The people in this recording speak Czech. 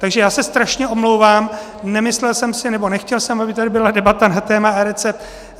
Takže já se strašně omlouvám, nemyslel jsem si, nebo nechtěl jsem, aby tady byla debata na téma eRecept.